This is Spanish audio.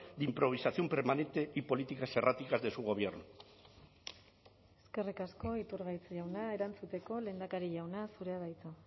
de improvisación permanente y políticas erráticas de su gobierno eskerrik asko iturgaiz jauna erantzuteko lehendakari jauna zurea da hitza